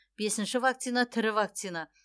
бесінші вакцина тірі вакцина